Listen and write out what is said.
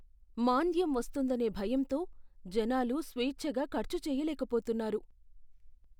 మాంద్యం వస్తుందనే భయంతో జనాలు స్వేచ్ఛగా ఖర్చు చేయలేకపొతున్నారు.